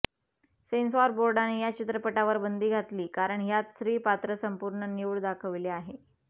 censor बोर्डाने या चित्रपटावर बंदी घातली कारण ह्यात स्त्री पात्र संपूर्ण न्यूड दाखवले आहे